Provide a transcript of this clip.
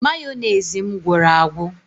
Mayonezi m gwụrụ agwụ